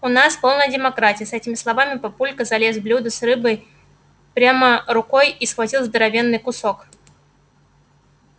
у нас полная демократия с этими словами папулька залез в блюдо с рыбой прямо рукой и схватил здоровенный кусок